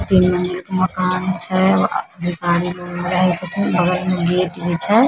तीन मंजिल के मकान छै भिखारी लोग रहे छथिन बगल में गेट भी छै।